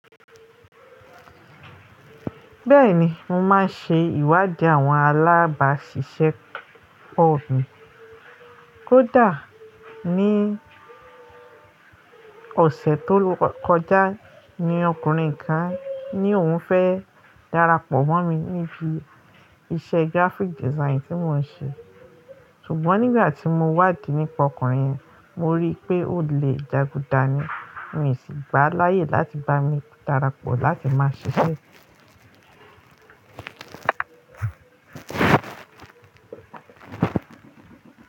Bẹ́ẹ̀ni, mo máa ń ṣe ìwádìí àwọn alábàṣiṣẹ́ po mi Kódà ní ọ̀sẹ̀ tó kọjá ni ọkùnrin kan ni òhun fẹ́ darapọ̀ mọ́ mi níbi iṣẹ́ graphic design tí mò ń ṣe. Ṣùgbọ́n nígbà tí mo wádìí nípa ọkùnrin yẹn, mo rí pé óle jagudà ni, mi o sì gbá á láyè láti bá mi darapọ̀ láti máa ṣiṣẹ́.